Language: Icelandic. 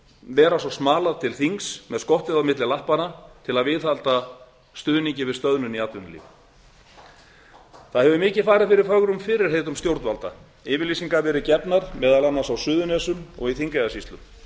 vera svo smalað til þings með skottið á milli lappanna til að viðhalda stöðnun í atvinnulífinu það hefur mikið farið fyrir fögrum fyrirheitum stjórnvalda yfirlýsingar verið gefnar meðal annars á suðurnesjum og í þingeyjarsýslu